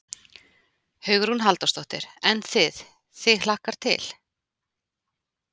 Hugrún Halldórsdóttir: En þið, þig hlakkar til?